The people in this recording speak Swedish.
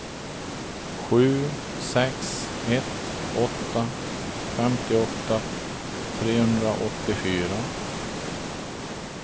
sju sex ett åtta femtioåtta trehundraåttiofyra